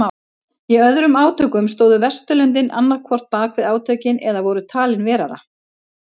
Í öðrum átökum stóðu Vesturlöndin annað hvort bakvið átökin eða voru talin vera það.